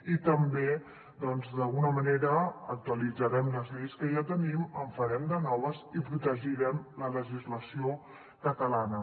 i també doncs d’alguna manera actualitzarem les lleis que ja tenim en farem de noves i protegirem la legislació catalana